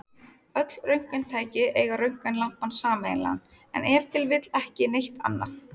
Öll röntgentæki eiga röntgenlampann sameiginlegan, en ef til vill ekki neitt annað!